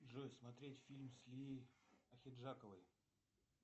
джой смотерть фильм с лией ахиджаковой